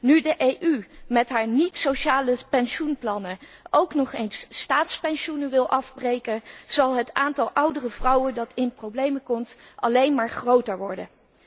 Nu de EU met haar niet sociale pensioenplannen ook nog eens staatspensioenen wil afbreken, zal het aantal oudere vrouwen dat in de problemen komt alleen maar groter worden.